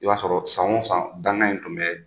I b'a sɔrɔ san o san dangan in tun bɛ